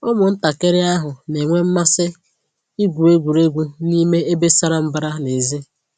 Ụmụntakịrị ahụ na-enwe mmasị igwu egwuregwu n'ime ebe sara mbara n'èzí